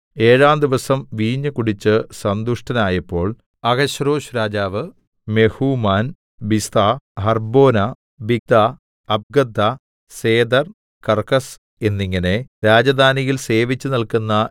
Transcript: ഏഴാം ദിവസം വീഞ്ഞ് കുടിച്ച് സന്തുഷ്ടനായപ്പോൾ അഹശ്വേരോശ്‌ രാജാവ് മെഹൂമാൻ ബിസ്ഥാ ഹർബ്ബോനാ ബിഗ്ദ്ധാ അബഗ്ദ്ധാ സേഥർ കർക്കസ് എന്നിങ്ങനെ രാജധാനിയിൽ സേവിച്ചുനില്ക്കുന്ന